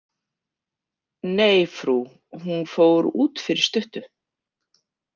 Nei, frú, hún fór út fyrir stuttu.